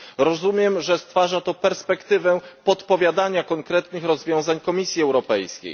Rozumiem, że stwarza to perspektywę podpowiadania konkretnych rozwiązań Komisji Europejskiej.